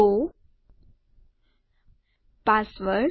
row password